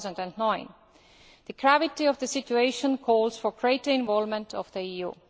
2009. The gravity of the situation calls for greater involvement of the EU.